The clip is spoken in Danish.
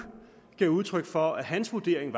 gav udtryk for at hans vurdering